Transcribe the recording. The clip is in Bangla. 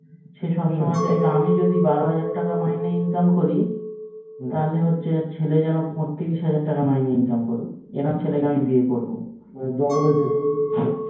সে সবসময় চাইবে আমি যদি বারো হাজার টাকা মাইনে income করি তাহলে হচ্ছে ওর ছেলে যেন ত্রিশ হাজার টাকা মেইন ইনকাম করুক এরম ছেলেকে আমি বিয়ে করবো